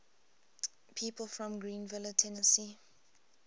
people from greeneville tennessee